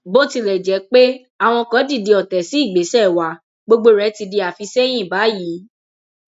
bó tilẹ jẹ pé àwọn kan dìde ọtẹ sí ìgbésẹ wa gbogbo rẹ ti di àfisẹyìn báyìí